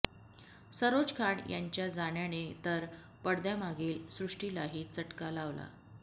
सरोज खान यांच्या जाण्याने तर पडद्यामागील सृष्टीलाही चटका लावला